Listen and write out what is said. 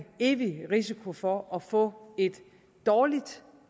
evig risiko for at få et dårligt